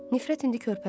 Nifrət indi körpədir.